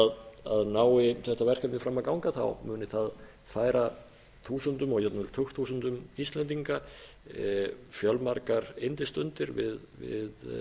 að nái þetta verkefni fram að ganga þá muni það færa þúsundum og jafnvel tugþúsundum íslendinga fjölmargar yndisstundir við